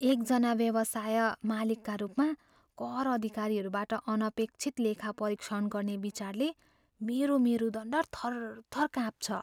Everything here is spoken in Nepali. एक जना व्यवसाय मालिकका रूपमा, कर अधिकारीहरूबाट अनपेक्षित लेखापरीक्षण गर्ने विचारले मेरो मेरुदण्ड थरथर काँप्छ।